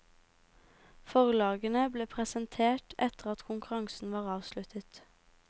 Forlagene ble presentert etter at konkurransen var avsluttet.